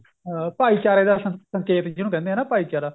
ਅਹ ਭਾਈਚਾਰੇ ਦਾ ਸੰਕੇਤ ਜਿਹਨੂੰ ਕਹਿੰਦੇ ਆ ਨਾ ਭਾਈਚਾਰਾ